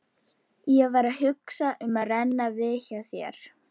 Ég var að hugsa um að renna við hjá þér.